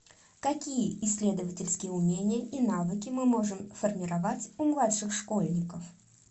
какие исследовательские умения и навыки мы можем формировать у младших школьников